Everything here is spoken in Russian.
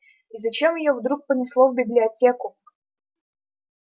и зачем её вдруг понесло в библиотеку